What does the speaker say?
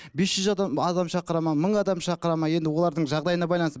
бес жүз адам адам шақырады ма мың адам шақырады ма енді олардың жағдайына байланысты